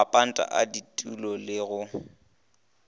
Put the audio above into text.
mapanta a ditulo le go